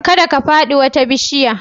Kada ka fadi wata bishiya